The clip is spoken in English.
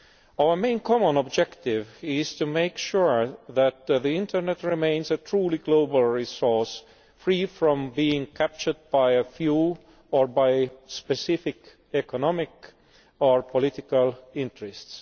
Our main common objective is to make sure that the internet remains a truly global resource, free from being captured by a few or by specific economic or political interests.